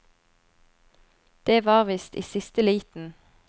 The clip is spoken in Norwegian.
Det var visst i siste liten.